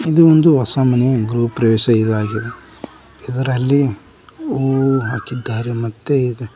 ಇದು ಒಂದು ಹೊಸ ಮನೆ ಗೃಹಪ್ರವೇಶ ಇದಾಗಿದೆ ಇದರಲ್ಲಿ ಹೂವು ಹಾಕಿದ್ದಾರೆ ಮತ್ತೆ--